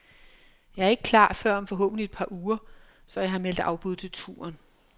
Jeg er ikke klar før om forhåbentlig et par uger, så jeg har meldt afbud til turen.